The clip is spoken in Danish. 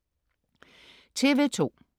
TV2: